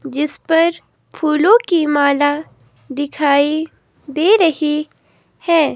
जिस पर फूलों की माला दिखाई दे रही है।